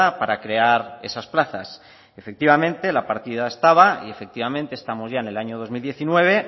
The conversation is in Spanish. para crear esas plazas efectivamente la partida estaba y efectivamente estamos ya en el año dos mil diecinueve